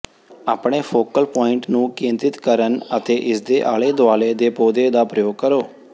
ਆਪਣੇ focal point ਨੂੰ ਕੇਂਦਰਿਤ ਕਰਨ ਅਤੇ ਇਸਦੇ ਆਲੇ ਦੁਆਲੇ ਦੇ ਪੌਦੇ ਦਾ ਪ੍ਰਯੋਗ ਕਰੋ